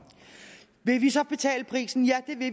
vil vi så betale prisen ja